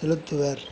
செலுத்துவர்